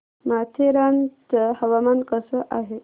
माथेरान चं हवामान कसं आहे